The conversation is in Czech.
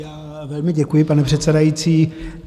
Já velmi děkuji, pane předsedající.